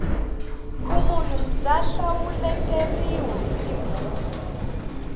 vumunhu bya hlawuteriwa hi tibuku